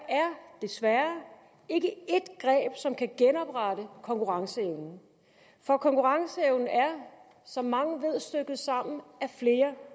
desværre ikke et greb som kan genoprette konkurrenceevnen for konkurrenceevnen er som mange ved stykket sammen af flere